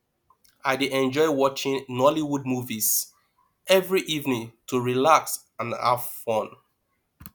i dey enjoy watching nollywood movies every evening to relax and have fun